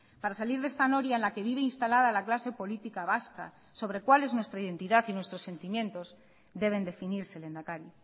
para salir de esta noria en la que vive instalada la clase política vasca sobre cuál es nuestra identidad y nuestros sentimientos deben definirse lehendakari